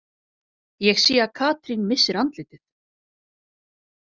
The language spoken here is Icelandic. Ég sé að Katrín missir andlitið.